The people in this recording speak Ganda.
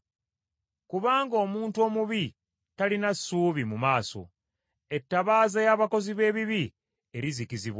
Kubanga omuntu omubi talina ssuubi mu maaso, ettabaaza y’abakozi b’ebibi erizikizibwa.